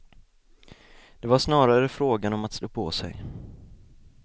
Det var snarare frågan om att stå på sig.